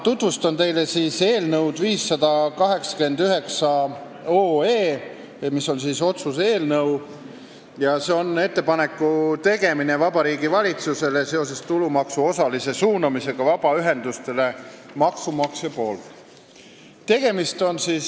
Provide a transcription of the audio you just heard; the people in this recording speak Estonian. Tutvustan teile täna otsuse "Ettepaneku tegemine Vabariigi Valitsusele seoses tulumaksu osalise suunamisega vabaühendustele maksumaksja poolt" eelnõu 589.